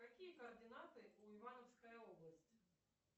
какие координаты у ивановская область